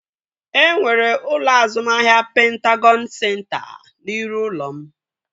E nwere ụlọ azụmahịa Pentagọn senta n'iru ụlọ m